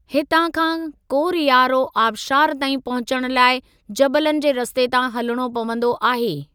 हितां खां कोरयारो आबशार ताईं पहुचण लाइ जबलनि जे रस्ते तां हलिणो पंवदो आहे।